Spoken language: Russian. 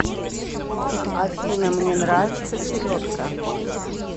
афина мне нравится селедка